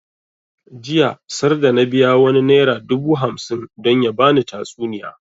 Jiya sarda na biya wani naira dubu hamsin don ya bani tatsuniya